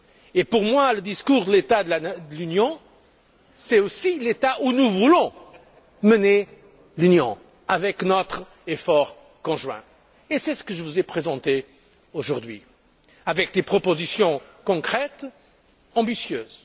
Et pour moi le discours sur l'état de l'Union concerne aussi l'état où nous voulons mener l'Union avec notre effort conjoint. Et c'est ce que je vous ai présenté aujourd'hui, avec des propositions concrètes, ambitieuses.